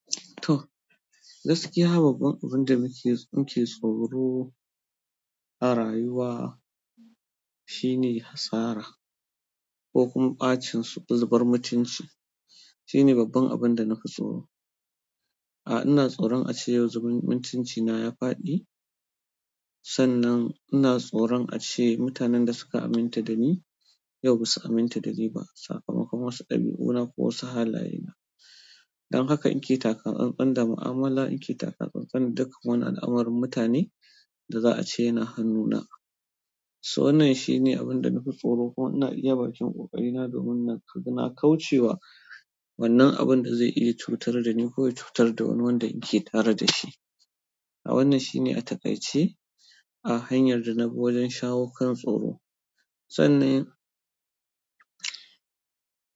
To, gaskiya babbar abun da muke, muke tsoro a rayuwa shine asara ko kuma ɓacin zubar mutunci, shine babban abun da nafi tsoro, ina tsoron ace yau mutuncina ya faɗi sannan ina tsoron ace mutanen da suka aminta dani, yau basu aminta dani ba sakamakon wasu ɗabi'una ko wasu halaye na. Don haka na ke taka tsantsan da mu'amala, in ke taka tsantsan duk wani al'amarin mutane da za a ce yana hannu na. So wannan shine abun da na fi tsoro kuma na iya baƙin ƙoƙari na domin naga na kauce wa wannan abun da zai iya cutar da ni ko ya cutar da wani wanda ya ke tare da shi. A wannan shine a takaice a hanyar dana bi wajen shawo kan tsoho.